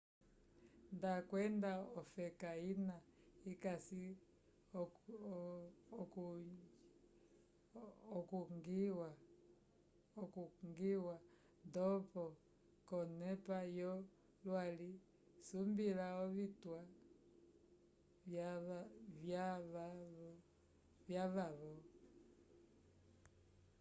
nda wanda cofeka ina ikasi okungiwa ndopo conepa yo lwali sumbila ovitwa vyavavo